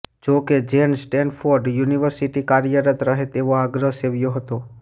જોકે જેન સ્ટેનફોર્ડે યુનિવર્સિટી કાર્યરત રહે તેવો આગ્રહ સેવ્યો હતો